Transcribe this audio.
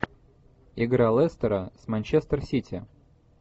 игра лестера с манчестер сити